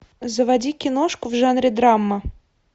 заводи киношку в жанре драма